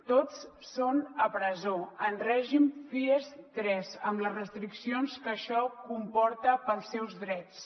tots són a presó en règim fies tres amb les restriccions que això comporta dels seus drets